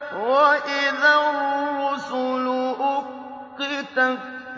وَإِذَا الرُّسُلُ أُقِّتَتْ